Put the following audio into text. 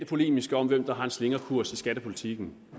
polemiske om hvem der har en slingrekurs i skattepolitikken